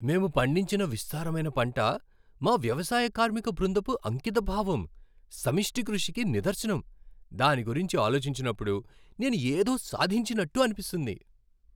మేము పండించిన విస్తారమైన పంట మా వ్యవసాయ కార్మిక బృందపు అంకితభావం, సమిష్టి కృషికి నిదర్శనం. దాని గురించి ఆలోచించినప్పుడు నేను ఏదో సాధించినట్టు అనిపిస్తుంది.